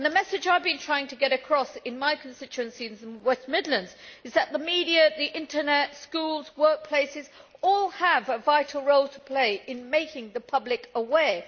The message I have been trying to get across in my constituency in the West Midlands is that the media, the internet, schools and workplaces all have a vital role to play in making the public aware.